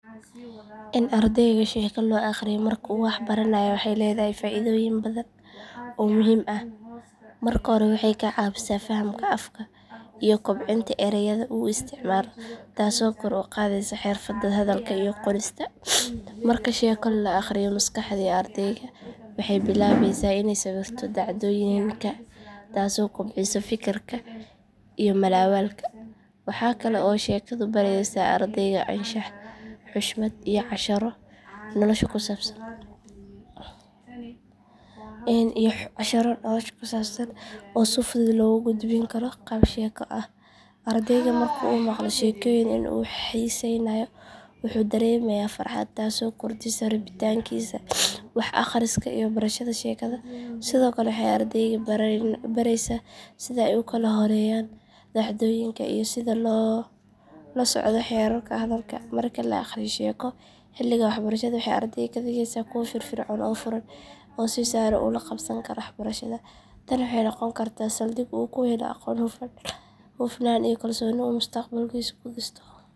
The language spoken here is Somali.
In ardayga sheeko loo akhriyo marka uu wax baranayo waxay leedahay faa’iidooyin badan oo muhiim ah. Marka hore waxay ka caawisaa fahamka afka iyo kobcinta erayada uu isticmaalo taasoo kor u qaadaysa xirfadda hadalka iyo qorista. Marka sheeko la akhriyo maskaxda ardayga waxay bilaabaysaa inay sawirto dhacdooyinka taasoo kobcisa fikirka iyo mala’awaalka. Waxa kale oo sheekadu baraysaa ardayga anshax, xushmad, iyo casharro nolosha ku saabsan oo si fudud loogu gudbin karo qaab sheeko ah. Ardayga marka uu maqlo sheekooyin uu xiisaynayo wuxuu dareemayaa farxad taasoo kordhisa rabitaankiisa wax akhriska iyo barashada. Sheekada sidoo kale waxay ardayga baraysaa sida ay u kala horreeyaan dhacdooyinka iyo sida loola socdo xeerarka hadalka. Marka la akhriyo sheeko xilliga waxbarashada waxay ardayda ka dhigaysaa kuwo firfircoon oo furan oo si sahlan ula qabsan kara waxbarashada. Tani waxay u noqon kartaa saldhig uu ku helo aqoon, hufnaan iyo kalsooni uu mustaqbalkiisa ku dhisto.